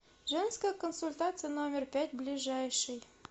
женская консультация номер пять ближайший